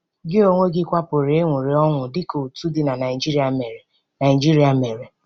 Gị onwe gị kwa pụrụ ịṅụrị ọṅụ dị ka otu di na Nigeria mere Nigeria mere.